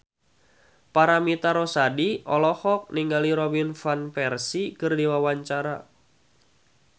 Paramitha Rusady olohok ningali Robin Van Persie keur diwawancara